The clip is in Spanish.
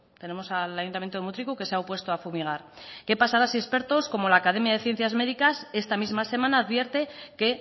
tenemos al ayuntamiento de mutriku que se ha opuesto a fumigar qué pasará si expertos como la academia ciencias de médicas esta misma semana advierte que